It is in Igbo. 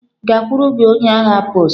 Gakwuru gị onye agha post!